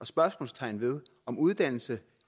spørgsmålstegn ved om uddannelse